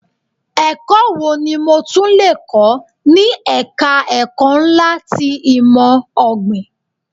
Ẹ̀kọ́ wo ni mo tún lè kọ́ ni ẹ̀ka ẹ̀kọ́ ńlá ti ìmò ọ̀gbìn.